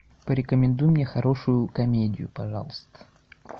порекомендуй мне хорошую комедию пожалуйста